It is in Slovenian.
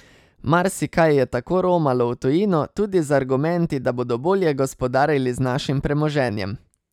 Marsikaj je tako romalo v tujino, tudi z argumenti, da bodo bolje gospodarili z našim premoženjem.